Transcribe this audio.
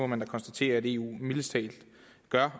man må konstatere at eu mildest talt gør